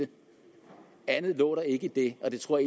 andet lå der ikke i det og det tror